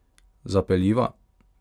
Zapeljiva?